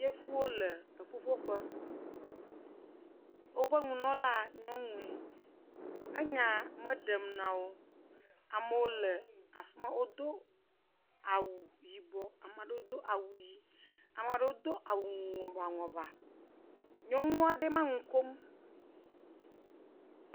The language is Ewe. Yevuwo le ƒuƒoƒo. Woƒe nunɔla nyɔnuie. Enye me ɖem nawo. Amewo le afima, wodo awu yibɔ, ame aɖewo ɖo awu ɣí. Ame aɖewo ma Do awu ŋɔbaŋɔba.